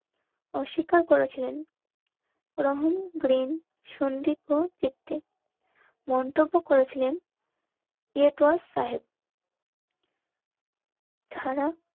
স্বীকার করেছিলেন Ron Green, Sandeep, পিতৃ. মন্তব্য করেছিলেন যারা